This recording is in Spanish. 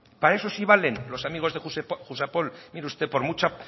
para eso sí valen los amigos de jusapol mire usted por mucha